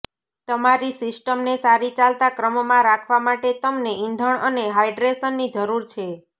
તમારી સિસ્ટમને સારી ચાલતા ક્રમમાં રાખવા માટે તમને ઇંધણ અને હાઇડ્રેશનની જરૂર છે